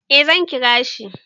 Eh zan kira shi.